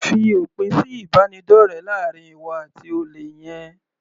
Fi òpin sí ìbánidọ́rẹ láàrin ìwọ àti olè yẹn.